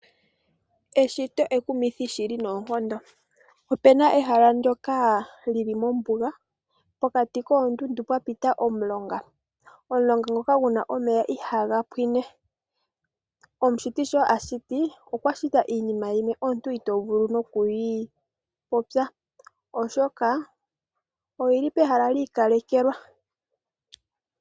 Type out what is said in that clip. Eshito ekumithi shili noonkondo. Opena ehalo ndyoka lili mombuga pokati koondundu pwa pita omulonga. Omulonga ngoka guna omeya ihaga pwiine. Omushiti sho ashiti, okwa shita iinima yimwe omuntu ito vulu nokuyi popya oshoka, oyili pehala yi ikalekelwa.